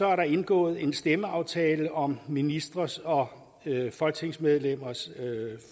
er der indgået en stemmeaftale om ministres og folketingsmedlemmers